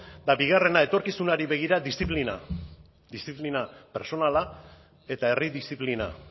eta bigarrena etorkizunari begira disziplina pertsonala eta herri disziplina